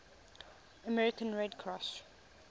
american red cross